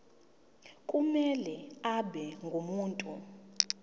kumele abe ngumuntu